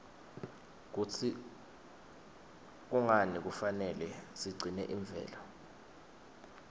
kutsi kungani kufanele sigcine imvelo